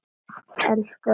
Elsku afi Valli!